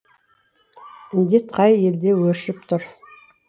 індет қай елде өршіп тұр